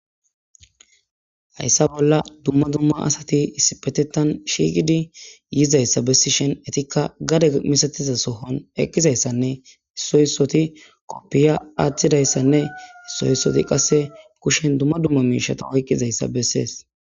hayssa bolla dumma dumma asati issipetetan shiiqidi yizayssa bessishen etikka gade misatiza sohon eqqizayssanne issoyisoti koppiya aaththidayssanne issoyissoti qasse kushen dumma dumma miishata oyqqizayssa bessees